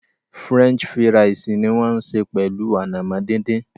French fíra̩ísí ni wọn ń sẹ pẹlu ànàmọ̀ dídìn.